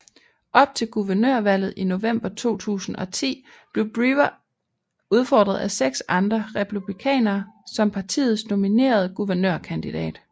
Op til guvernørvalget i november 2010 blev Brewer udfordret af 6 andre republikanere som partiets nominerede guvernørkanidat